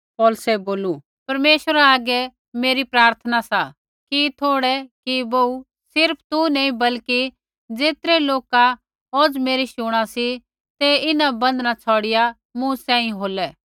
पौलुसै बोलू परमेश्वरा आगै मेरी प्रार्थना सा कि थोड़ै कि बोहू सिर्फ़ तू नी बल्कि ज़ेतरै लोका औज़ मेरी शुणा सी ते इन्हां बन्धन छ़ौड़िआ मूँ सांही होलै